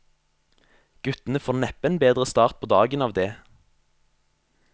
Guttene får neppe en bedre start på dagen av det.